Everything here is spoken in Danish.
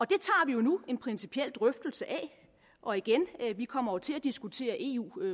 det tager vi nu en principiel drøftelse af og igen vi kommer til at diskutere eu